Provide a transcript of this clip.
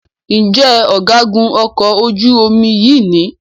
Njé Ọ̀gágun okò ojú omi yí ní?